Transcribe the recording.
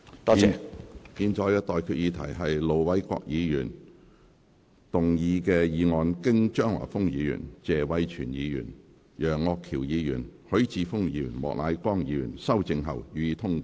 我現在向各位提出的待決議題是：盧偉國議員動議的議案，經張華峰議員、謝偉銓議員、楊岳橋議員、葛珮帆議員及莫乃光議員修正後，予以通過。